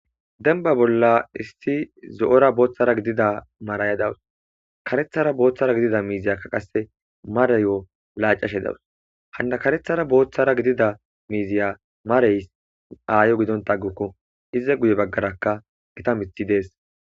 Demba bolla issi zo'ora boothara gidida maraya dawus. Karethara boothara gidida miiziyaka qasse marayo laacashe dawus. Hanna karethara boothara gidida miiziya marays aayo gidonta aguku. Iza guye baggaraka gita miththi dees.